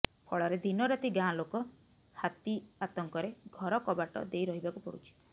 ଫଳରେ ଦିନରାତି ଗାଁଲୋକ ହାତି ଆତଙ୍କରେ ଘର କବାଟ ଦେଇ ରହିବାକୁ ପଡୁଛି